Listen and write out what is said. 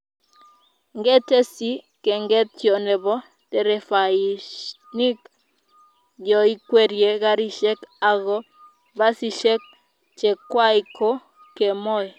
ngetesyi kengetyo nebo nderefainik yoikwerie karishek ago basishek chekwai ko kemoi